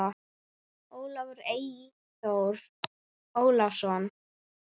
Ólafur Eyþór Ólason.